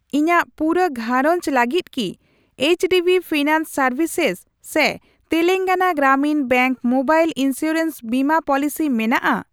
ᱤᱧᱟᱜ ᱯᱩᱨᱟᱹ ᱜᱷᱟᱨᱚᱸᱡᱽ ᱞᱟᱹᱜᱤᱫ ᱠᱤ ᱮᱭᱤᱪᱰᱤᱵᱤ ᱯᱷᱤᱱᱟᱱᱥ ᱥᱮᱨᱵᱷᱤᱥᱮᱥ ᱥᱮ Telangana Grameen bank mobile insurance ᱵᱤᱢᱟᱹ ᱯᱚᱞᱤᱥᱤ ᱢᱮᱱᱟᱜᱼᱟ ?